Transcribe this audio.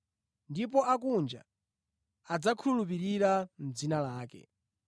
Ndipo akunja adzakhulupirira dzina lake.”